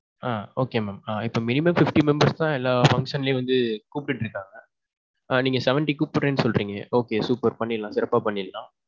ஆ okay mam. ஆ இப்போ minimum fifty members தான் எல்லா function லையும் வந்து கூப்டுகிட்டு இருக்காங்க. நீங்க seventy கூப்புடுறேன்னு சொல்றீங்க. okay super. பண்ணிடலாம் சிறப்பா பண்ணிடலாம்.